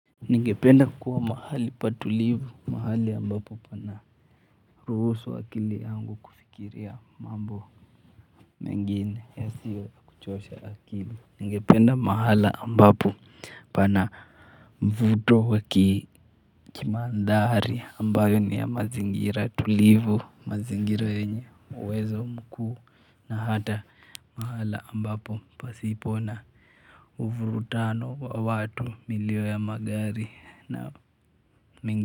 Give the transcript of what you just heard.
Ningependa kuwa mahali patulivu mahali ambapo pana ruhusu akili yangu kufikiria mambo mengine yasiyo ya kuchosha akili. Ningependa mahala ambapo pana mvuto wa kimandhari ambayo ni ya mazingira tulivu mazingira yenye uwezo mkuu na hata mahala ambapo pasipo na uvurutano wa watu, milio ya magari na.